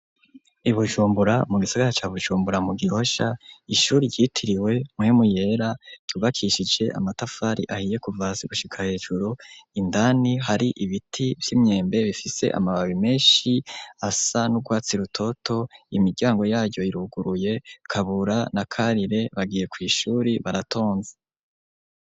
I Bujumbura mu gisigara ca Bujumbura mu Gihosha ishure ryitiriwe Mpwemu Yera ryubakishije amatafari ahiye kuva hasi gushika hejuru indani hari ibiti vy'imyembe bifise amababi menshi asa n'urwatsi rutoto imiryango yayo iruguruye Kabura na Karire bagiye kw'ishure baratonze.